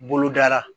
Bolodara